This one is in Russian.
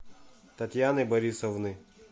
татьяны борисовны